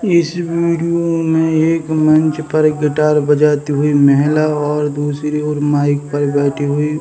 इस वीडियो में एक मंच पर गिटार बजाती हुई महिला और दूसरी ओर माइक पर बैठी हुई --